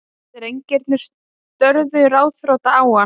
Drengirnir störðu ráðþrota á hann.